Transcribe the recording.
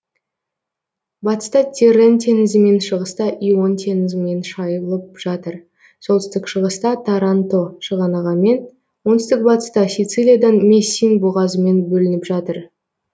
батыста тиррен теңізімен шығыста ион теңізімен шайылып жатыр солтүстік шығыста таранто шығанағымен оңтүстік батыста сицилиядан мессин бұғазымен бөлініп жатыр